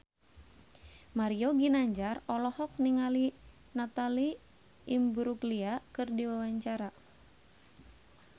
Mario Ginanjar olohok ningali Natalie Imbruglia keur diwawancara